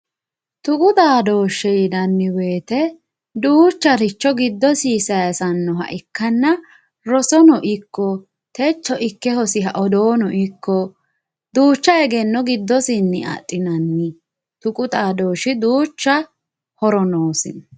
tuqu xaadooshshe yinanni wote giddosi duucharicho amadinoha ikkanna rosono ikko techo ikke hosiha odoono ikko duucha egenno giddosinni adhinanniho tuqu xaadooshshi duucha horo noosi.